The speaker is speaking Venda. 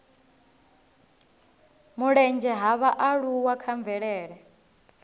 mulenzhe ha vhaaluwa kha mvelele